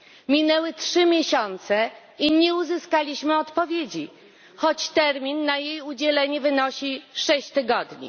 Minęły trzy miesiące i nie uzyskaliśmy odpowiedzi, choć termin na jej udzielenie wynosi sześć tygodni.